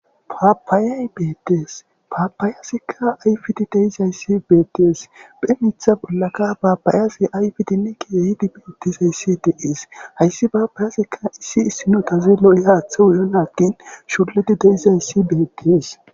Papaye betees papayezika ayifizi dizayisa beses ba,inta bollaka papayazi ayifizinne kehi lo,izi betees hayisi papayezika isnoza lo,iyako lo,enako shulidi de, izayisi betees